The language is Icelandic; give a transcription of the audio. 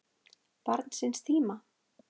Barn síns tíma?